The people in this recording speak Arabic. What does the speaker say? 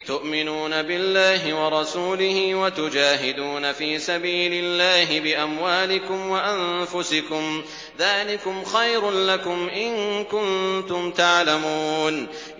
تُؤْمِنُونَ بِاللَّهِ وَرَسُولِهِ وَتُجَاهِدُونَ فِي سَبِيلِ اللَّهِ بِأَمْوَالِكُمْ وَأَنفُسِكُمْ ۚ ذَٰلِكُمْ خَيْرٌ لَّكُمْ إِن كُنتُمْ تَعْلَمُونَ